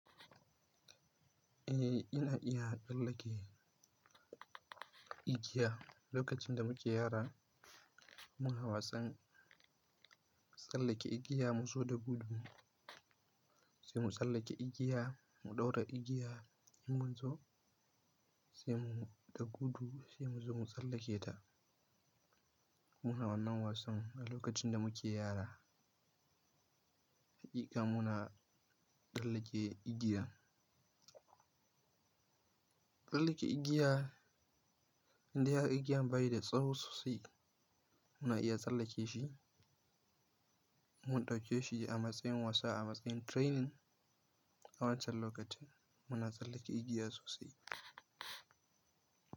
Eh ina iya tsallake igiya. Lokacin da muke yara muna wasan tsallake igiya. Mu zo da gudu sai mu tsallake igiya, mu ɗaura igiya mun zo sai mu da gudu sai mu zo mu tsallake ta. Muna wannan wasan a lokacin da muke yara. Hakika muna tsallake igiya. Tsallake igiya idan har igiyar bayi da tsawo sosai muna iya tsallake shi. Mun ɗauke shi a matsayin wasa, a matsayin training. A wancan lokacin muna tsallake igiya sosai.